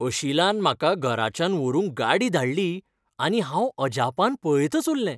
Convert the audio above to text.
अशिलान म्हाका घराच्यान व्हरूंक गाडी धाडली आनी हांव अजापान पळयतच उरलें.